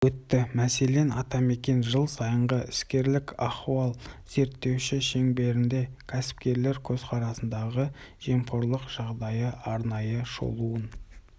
өтті мәселен атамекен жыл сайынғы іскерлік ахуал зерттеуі шеңберінде кәсіпкерлер көзқарасындағы жемқорлық жағдайы арнайы шолуын